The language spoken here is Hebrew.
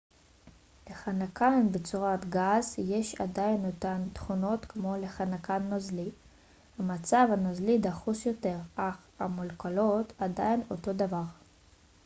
לחנקן בצורת גז יש עדיין אותן תכונות כמו לחנקן נוזלי המצב הנוזלי דחוס יותר אך המולקולות עדיין אותו דבר